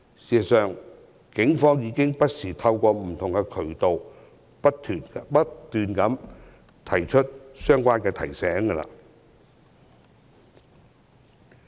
事實上，警方不時透過不同渠道不斷作出相關提醒。